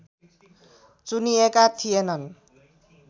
चुनिएका थिएनन्